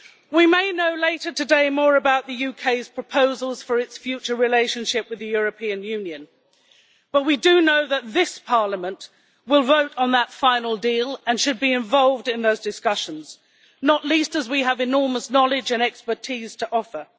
We may know later today more about the UK's proposals for its future relationship with the European Union, but we do know that this Parliament will vote on that final deal and should be involved in those discussions, not least as we have enormous knowledge and expertise to offer.